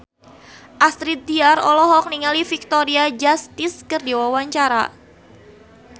Astrid Tiar olohok ningali Victoria Justice keur diwawancara